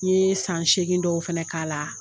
N ye san seegin dɔw fɛnɛ k'a la.